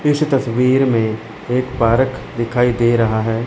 इस तस्वीर में एक पार्क दिखाई दे रहा है।